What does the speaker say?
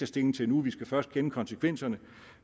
stilling til nu vi skal først kende konsekvenserne